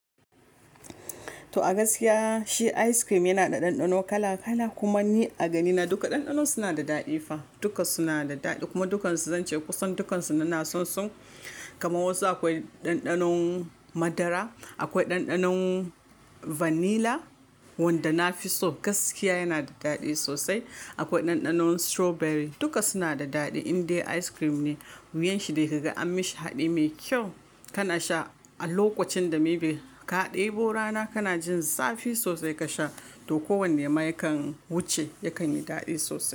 To a gaskiya shi ice cream yana da ɗanɗano kala kala. Kuma ni a ganina duka ɗanɗanon suna da daɗi fa. Duka suna da daɗi kuma dukansu zance kusan dukansu nna son su. Kamaw wasu akwai ɗanɗanon madara, akwai ɗanɗanon vanilla wanda nafi so gaskiya yana da daɗi sosai. Akwai ɗanɗanon strawberry duka suna da daɗi indai ice cream ne. Wuyan shi dai ka ga an mishi haɗi mai kyau kana sha a lokacin da maybe ka ɗebo rana kana jin zafi sosai ka sha to ko wanne ma yakan wuce yakan yi daɗi sosai.